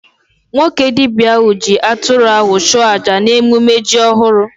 Nwoke dibia ahụ ji atụrụ ahụ chụọ aja n'ememe ji ọhụrụ